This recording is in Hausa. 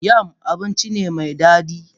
Yam abinci ne mai dadi.